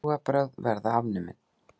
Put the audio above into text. Trúarbrögð verða afnumin.